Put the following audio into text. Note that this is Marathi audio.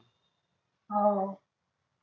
हो